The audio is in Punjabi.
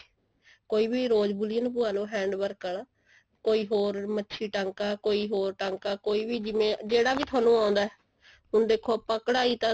ਕੋਈ ਵੀ rose ਬੂਲੀਅਨ ਪਵਾਲੋ hand work ਵਾਲਾ ਕੋਈ ਹੋਰ ਮੱਛੀ ਟਾਂਕਾ ਕੋਈ ਹੋਰ ਟਾਂਕਾ ਕੋਈ ਵੀ ਜਿਵੇਂ ਜਿਹੜਾ ਵੀ ਤੁਹਾਨੂੰ ਆਉਂਦਾ ਹੁਣ ਦੇਖੋ ਆਪਾਂ ਕਢਾਈ ਤਾਂ